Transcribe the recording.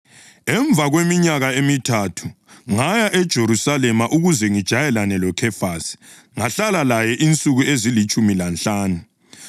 Emva kweminyaka emithathu, ngaya eJerusalema ukuze ngijayelane loKhefasi, ngahlala laye insuku ezilitshumi lanhlanu.